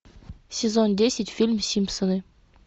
сезон десять фильм симпсоны